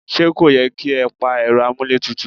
Ṣé kò yẹ kí ẹ pa Ẹ̀rọ amuletutu?